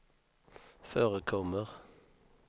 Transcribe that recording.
förekommer